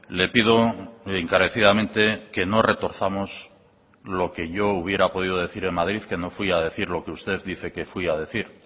le pido encarecidamente que no retorzamos lo que yo hubiera podido decir en madrid que no fui a decir lo que usted dice que fui a decir